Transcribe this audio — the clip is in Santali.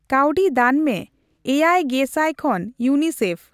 ᱠᱟᱣᱰᱤ ᱫᱟᱱ ᱢᱮ ᱮᱭᱟᱭ ᱜᱮ ᱥᱟᱭ ᱠᱷᱚᱱ ᱤᱭᱩᱮᱱᱟᱭᱥᱤᱤᱮᱯᱷ